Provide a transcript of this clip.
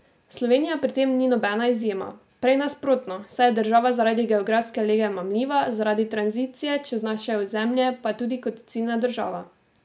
Slovenija pri tem ni nobena izjema, prej nasprotno, saj je država zaradi geografske lege mamljiva zaradi tranzicije čez naše ozemlje pa tudi kot ciljna država.